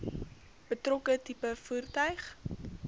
betrokke tipe voertuig